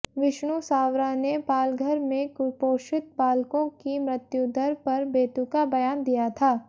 विष्णू सावरा ने पालघर में कुपोषित बालकों की मृत्यूदर पर बेतुका बयान दिया था